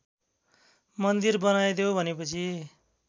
मन्दिर बनाइदेऊ भनेपछि